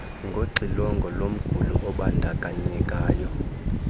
ngoxilongo lomguli obandakanyekayo